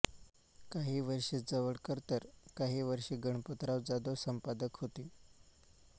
काही वर्षे जवळकर तर काही वर्षे गणपतराव जाधव संपादक होते